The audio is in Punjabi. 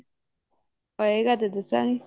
ਹੋਏਗਾ ਤਾਂ ਦੱਸਾਂਗੇ